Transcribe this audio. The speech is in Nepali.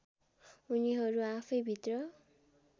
उनीहरू आफैँभित्र